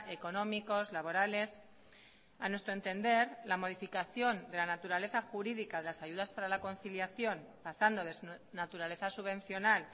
económicos laborales a nuestro entender la modificación de la naturaleza jurídica de las ayudas para la conciliación pasando de su naturaleza subvencional